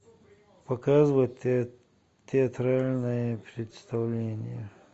показывай театральное представление